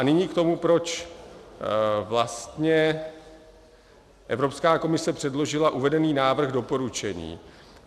A nyní k tomu, proč vlastně Evropská komise předložila uvedený návrh doporučení.